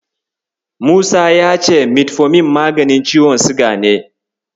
Musa ya ce Metfomin maganin ciwon siga ne.